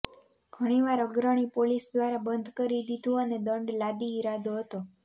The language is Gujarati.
ઘણીવાર અગ્રણી પોલીસ દ્વારા બંધ કરી દીધું અને દંડ લાદી ઈરાદો હતો